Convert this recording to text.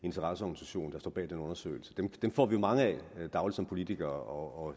interesseorganisation der står bag den undersøgelse dem får vi mange af dagligt som politikere og